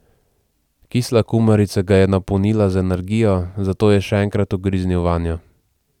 Kisla kumarica ga je napolnila z energijo, zato je še enkrat ugriznil vanjo.